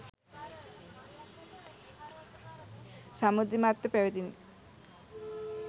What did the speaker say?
සමෘද්ධිමත්ව පැවැතිණ.